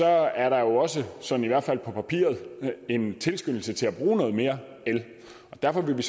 er der jo også sådan i hvert fald på papiret en tilskyndelse til at bruge noget mere el og derfor vil vi